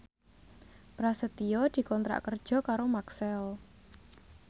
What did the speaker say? Prasetyo dikontrak kerja karo Maxell